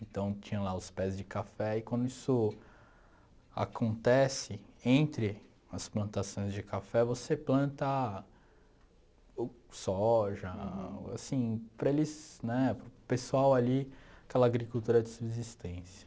Então tinha lá os pés de café e quando isso acontece, entre as plantações de café, você planta soja, assim, para eles né para o pessoal ali, aquela agricultura de subsistência.